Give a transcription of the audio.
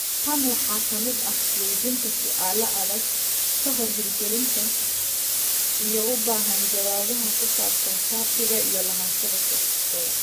Tan waxaa ka mid ah weydiinta su'aalo adag ka hor hirgelinta, iyo u baahan jawaabaha ku saabsan shatiga iyo lahaanshaha software.